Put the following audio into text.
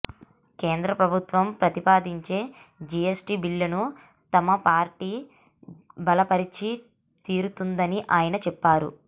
కేంద్ర ప్రభుత్వం ప్రతిపాదించే జిఎస్టీ బిల్లును తమ పార్టీ బలపరిచి తీరుతుందని ఆయన చెప్పారు